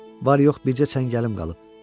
Var-yox bircə çəngəlim qalıb.